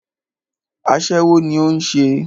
Aṣẹ́wó ní o ń ṣe.